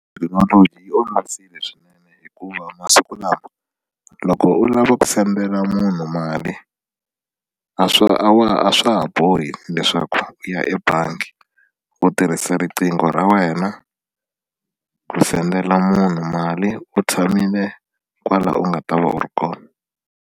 Thekinoloji yi olovisile swinene hikuva masiku lama loko u lava ku sendela munhu mali a swa a a swa ha bohi leswaku u ya ebangi u tirhisa riqingho ra wena ku sendela munhu mali u tshamile kwala u nga ta va u ri kona.